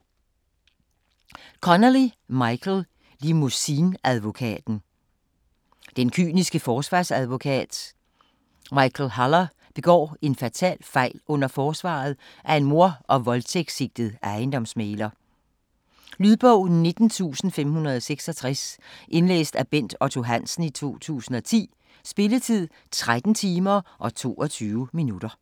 Connelly, Michael: Limousineadvokaten Den kyniske forsvarsadvokat Michael Haller begår en fatal fejl under forsvaret af en mord- og voldtægtssigtet ejendomsmægler. Lydbog 19566 Indlæst af Bent Otto Hansen, 2010. Spilletid: 13 timer, 22 minutter.